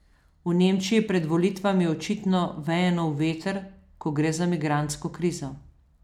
V Nemčiji pred volitvami očitno veje nov veter, ko gre za migrantsko krizo.